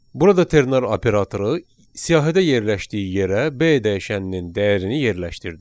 Burada ternar operatoru siyahıda yerləşdiyi yerə B dəyişəninin dəyərini yerləşdirdi.